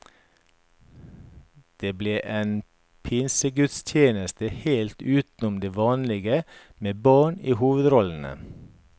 Det ble en pinsegudstjeneste helt utenom det vanlige med barn i hovedrollene.